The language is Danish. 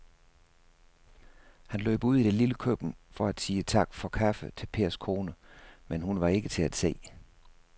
Han løb ud i det lille køkken for at sige tak for kaffe til Pers kone, men hun var ikke til at se.